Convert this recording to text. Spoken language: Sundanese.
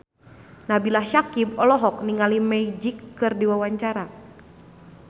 Nabila Syakieb olohok ningali Magic keur diwawancara